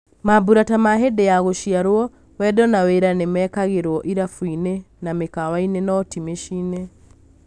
Mambũra ta ma hĩndi ya andũ gũciarwo, wendo na wĩra nĩmekagĩrwo irabuinĩ na mĩkawainĩ no ti mĩcĩinĩ.